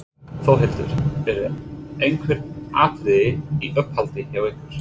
Þórhildur: Eru einhver atriði í uppáhaldi hjá ykkur?